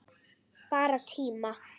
Bara tíma